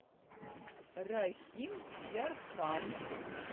рахимъярхан